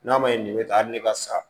N'a ma ɲɛ nin bɛ tan hali ne ka sa